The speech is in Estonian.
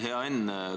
Hea Enn!